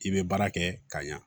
I bɛ baara kɛ ka ɲa